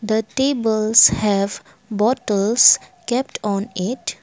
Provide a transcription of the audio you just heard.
the tables have bottles kept on it.